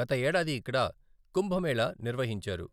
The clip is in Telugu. గత ఏడాది ఇక్కడ కుంభమేళా నిర్వహించారు.